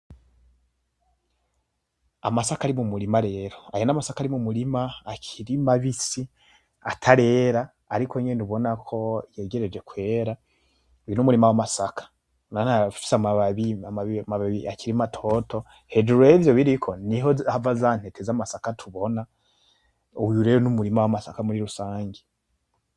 Amasaka ari mu murima rero. Aya masaka ari mumurima akiri mabisi atarera ariko nyene ubonako yegereje kwera. Uyu n'umurima w amasaka ufise amababi akiri matoto hejuru ivyo biriko niho hava za ntete zaya masaka tubona uyu rero n’ umurima w’ amasaka muri rusange .